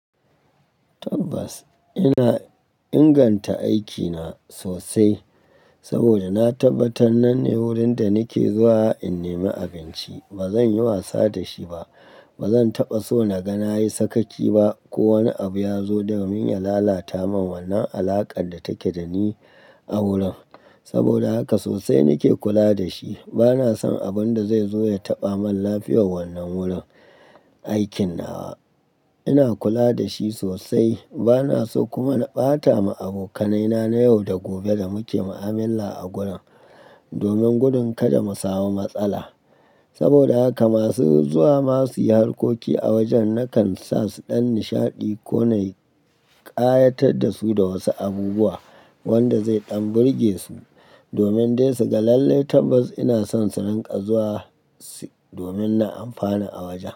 Tabbas ina inganta aikina sosai saboda na tabbatar nan ne wurin da nake zuwa in nemi abinci. Ba zan yi wasa da shi ba. Ba zan taɓa so na ga na yi sakaci ba ko wani abu ya zo domin ya lalata min wannan alaƙar da take da ni a wurin. Saboda haka sosai nake kula da shi. Ba na son abun da zai zo ya taɓa min lafiyar wannan wurin aikin nawa. Ina kula da shi sosai. Ba na so kuma na ɓata ma abokanai na na yau da gobe da muke ma'amala a gurin domin gurin kada mu samu matsala. Saboda haka masu zuwa ma su yi harkoki a wajen na kan sa su ɗan nishaɗi ko na ƙayatar da su da wasu abubuwa wanda zai ɗan burge su domin dai su ga lallai tabbas ina son su nan ƙazuwa domin na amfana a wajen.